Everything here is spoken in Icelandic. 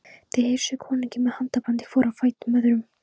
Þeir heilsuðu konungi með handabandi hvor á fætur öðrum.